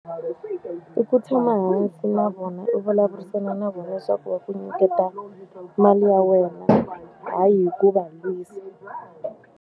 I ku tshama hansi na vona u vulavurisana na vona leswaku va ku nyiketa mali ya wena. Hayi hi ku va lwisa.